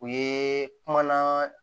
U ye kumana